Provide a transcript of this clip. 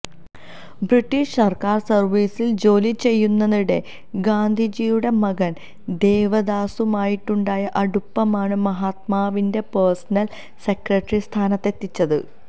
British സർക്കാർ സർവീസിൽ ജോലി ചെയ്യുന്നതിനിടെ ഗാന്ധിജിയുടെ മകൻ ദേവദാസുമായുണ്ടായ അടുപ്പമാണ് മഹാത്മാവിന്റെ പഴ്സനൽ സെക്രട്ടറി സ്ഥാനത്തെത്തിച്ചത്